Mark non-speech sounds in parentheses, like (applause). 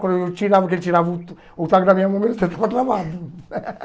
Quando tirava que ele tirava o o taco da minha mão, meu dedo estava travado. (laughs)